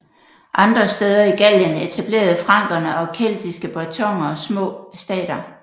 Andre steder i Gallien etablerede frankerne og keltiske bretoner små stater